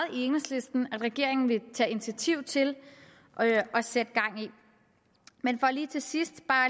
at regeringen vil tage initiativ til at sætte gang i men til sidst